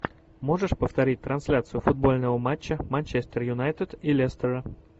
можешь повторить трансляцию футбольного матча манчестер юнайтед и лестера